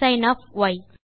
sin of y